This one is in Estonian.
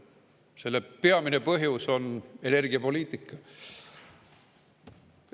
Selle peamine põhjus on energiapoliitika.